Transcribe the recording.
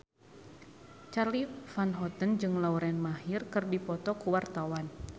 Charly Van Houten jeung Lauren Maher keur dipoto ku wartawan